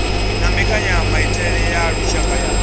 na mbekanyamaitele ya lushaka ya